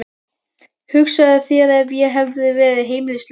Hugsaðu þér ef ég hefði verið heimilislaus.